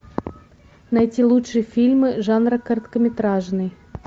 найти лучшие фильмы жанра короткометражный